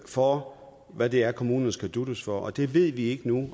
for hvad det er kommunerne skal dutes for det ved vi ikke nu